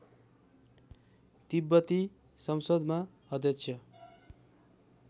तिब्बती संसदमा अध्यक्ष